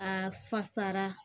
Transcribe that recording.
A fasara